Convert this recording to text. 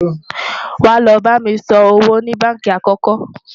wá ló bá mí sàn owó ní bánkì àkókò